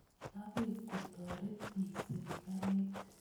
Akoi kotoret piik sirikalit